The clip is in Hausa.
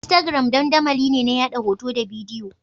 Instagram dandamali ne na yaɗa hoto da bidiyo.